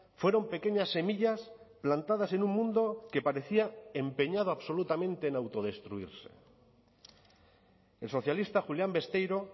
fueron pequeñas semillas plantadas en un mundo que parecía empeñado absolutamente en autodestruirse el socialista julián besteiro